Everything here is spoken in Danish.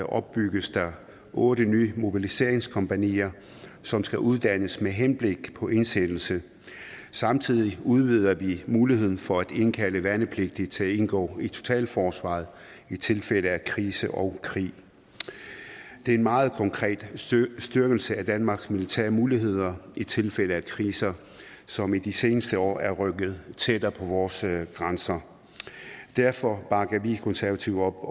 opbygges der otte nye mobiliseringskompagnier som skal uddannes med henblik på indsættelse samtidig udvider vi muligheden for at indkalde værnepligtige til at indgå i totalforsvaret i tilfælde af krise og krig det er en meget konkret styrkelse af danmarks militære muligheder i tilfælde af kriser som i de seneste år er rykket tættere på vores grænser derfor bakker vi konservative